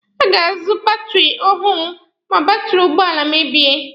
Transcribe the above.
A ga-azụ batiri ọhụrụ ma batiri ụgbọala mebie.